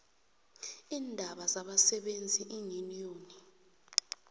iindaba zabasebenzi iinyuniyoni